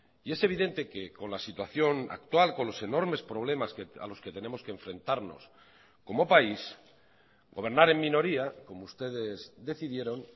y es evidente que con la situación actual con los enormes problemas a los que tenemos que enfrentarnos como país gobernar en minoría como ustedes decidieron